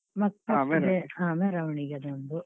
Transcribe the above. ಹಾ ಮೆರವಣಿಗೆ ಅದೊಂದು.